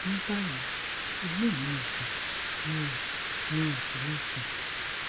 ní báyìí inú mi ò dùn mi ò mi ò sì le sùn